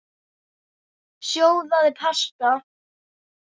Sjóðið pasta.